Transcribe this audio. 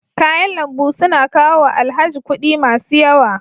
Kayan lambu su na kawo wa Alhaji kuɗi masu yawa.